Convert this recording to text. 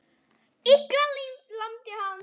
Lilla lamdi hann frá.